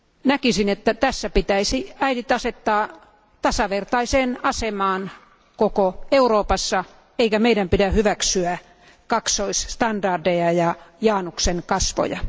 Näkisin, että äidit pitäisi asettaa tasavertaiseen asemaan koko Euroopassa, eikä meidän pidä hyväksyä kaksoisstandardeja ja Januksen kasvoja.